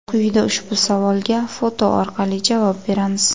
Quyida ushbu savolga foto orqali javob beramiz.